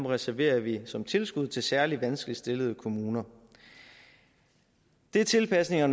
reserverer vi som tilskud til særlig vanskeligt stillede kommuner det er tilpasninger